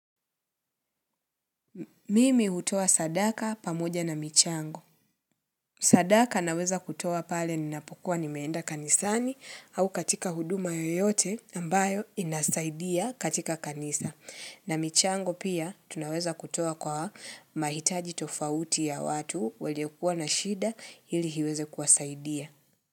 Mimi hutoa sadaka pamoja na michango. Sadaka naweza kutoa pale ninapokua nimeenda kanisani au katika huduma yoyote ambayo inasaidia katika kanisa. Na michango pia tunaweza kutoa kwa mahitaji tofauti ya watu wenye kua na shida hili iweze kuwasaidia.